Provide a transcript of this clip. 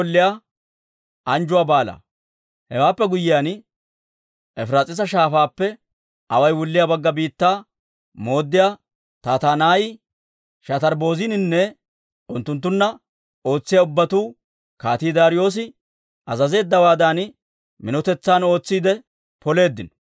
Hewaappe guyyiyaan, Efiraas'iisa Shaafaappe away wulliyaa Bagga Biittaa mooddiyaa Tattanaayi, Shatarbbozininne unttunttunna ootsiyaa ubbatuu Kaatii Daariyoosi azazeeddawaadan minotetsan ootsiide poleeddino.